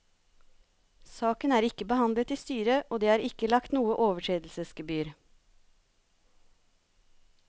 Saken er ikke behandlet i styret og det er ikke i lagt noe overtredelsesgebyr.